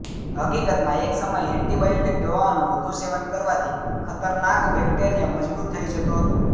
હકીકતમાં એક સમય એન્ટિબાયોટિક દવાઓનું વધુ સેવન કરવાથી ખતરનાક બેક્ટેરિયા મજબૂત થઈ જતો હતો